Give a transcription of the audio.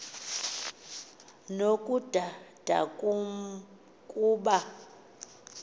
nokudada kum kuba